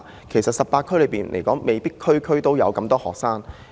其實未必全港18區都有這麼多學生。